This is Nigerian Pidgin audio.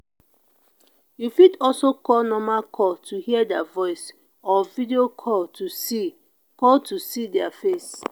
you fit also call normal call to hear their voice or video call to see call to see their face